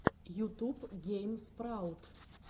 ютуб гейм спраут